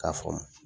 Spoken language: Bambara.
K'a faamu